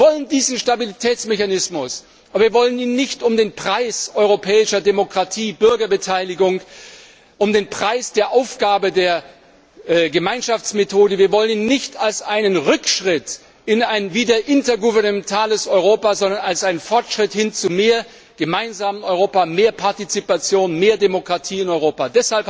Wir wollen diesen Stabilitätsmechanismus, aber wir wollen ihn nicht um den Preis europäischer Demokratie, Bürgerbeteiligung, um den Preis der Aufgabe der Gemeinschaftsmethode, wir wollen ihn nicht als einen Rückschritt in ein wieder intergouvernementales Europa, sondern als einen Fortschritt hin zu einem mehr gemeinsamen Europa, mehr Partizipation, mehr Demokratie in Europa!